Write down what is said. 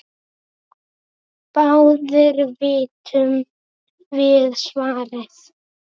Báðir vitum við svarið